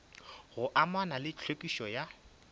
go amana le tlhwekišo ya